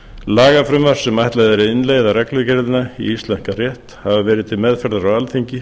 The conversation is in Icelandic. lagafrumvörp sem ætlað er að innleiða reglugerðina í íslenskan rétt hafa verið til meðferðar